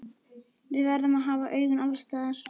Við verðum að hafa augun alls staðar.